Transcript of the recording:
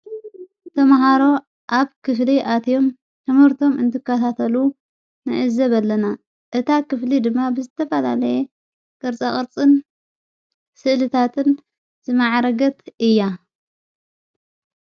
ተመሃሮ ኣብ ክፍሊ ኣትዮም ሕሙርቶም እንትካታተሉ ንእዘብ ኣለና እታ ኽፍሊ ድማ ብዝተባላለየ ቅርፃቐርጽን ስእልታትን ዝመዓረገት እያ።